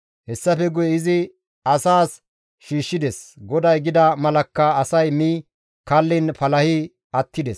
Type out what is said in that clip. Hessafe guye izi asaas shiishshides; GODAY gida malakka asay mi kalliin palahi attides.